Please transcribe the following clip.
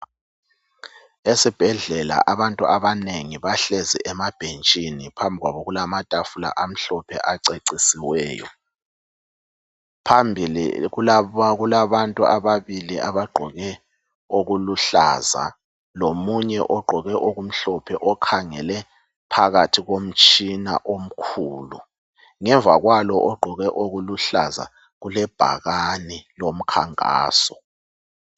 Esibhedlela abantu abanengi bahlezi emabhentshini phambi kwabo kulamatafula amhlophe acecisiweyo. Phambili kulabantu ababili abagqoke okuluhlaza lomunye ogqoke okumhlophe okhangele phakathi komtshina omkhulu. Ngemva kwalo ogqoke okuluhlaza kulebhakane lomkhankaso.